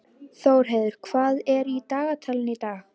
Þórheiður, hvað er í dagatalinu í dag?